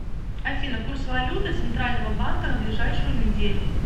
афина курс валюты центрального банка на ближайшую неделю